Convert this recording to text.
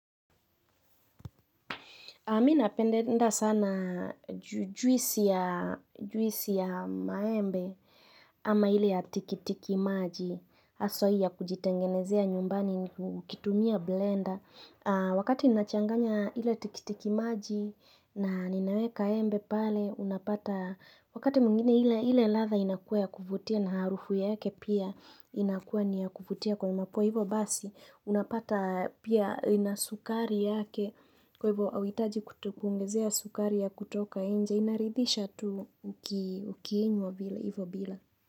Mi napendenda sana jwisi ya maembe ama hile ya tikitiki maji. Haswa hii ya kujitengenezea nyumbani ukukitumia blender. Wakati nachanganya ile tikitiki maji na ninaweka embe pale unapata. Wakati mwingine ile latha inakua ya kuvutia na harufu yake pia inakua ni ya kufutia kwa mapua hivo basi. Unapata pia ina sukari yake. Kwa hivyo hauitaji kutukuongezea sukari ya kutoka nje. Inaridhisha tu ukiinywa hivyo bila.